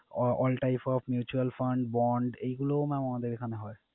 Ah all type of mutual fund bond এইগুলো mam আমাদের এখানে হয়।